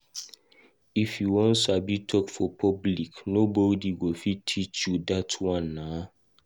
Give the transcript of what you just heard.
If u wan sabi talk for public, nobody go fit teach you dat one nah.